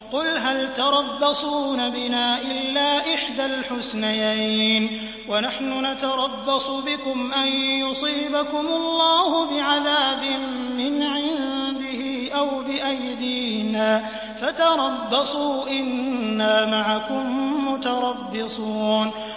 قُلْ هَلْ تَرَبَّصُونَ بِنَا إِلَّا إِحْدَى الْحُسْنَيَيْنِ ۖ وَنَحْنُ نَتَرَبَّصُ بِكُمْ أَن يُصِيبَكُمُ اللَّهُ بِعَذَابٍ مِّنْ عِندِهِ أَوْ بِأَيْدِينَا ۖ فَتَرَبَّصُوا إِنَّا مَعَكُم مُّتَرَبِّصُونَ